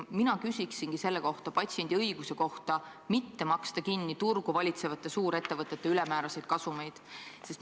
Mina küsingi selle kohta, ma küsin patsiendi õiguse kohta mitte maksta kinni turgu valitsevate suurettevõtete ülemääraseid kasumeid.